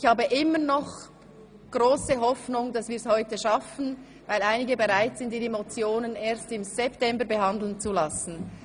Ich habe immer noch die grosse Hoffnung, dass wir es heute schaffen, weil einige bereit sind, ihre Motionen erst im September behandeln zu lassen.